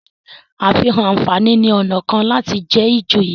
àfihàn ànfàní ní ọnà kán láti jé ijoye.